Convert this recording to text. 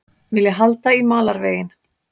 Vilja halda í malarveginn